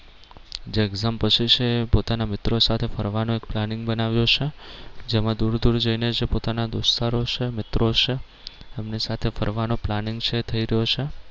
જે exam પછી છે પોતાના મિત્રો સાથે ફરવાનો એક planning બનાવ્યો છે જેમાં દૂર દૂર જઈ ને જે પોતાના દોસ્તારો છે મિત્રો છે એમની સાથે ફરવાનું planning છે થઈ રહ્યું છે.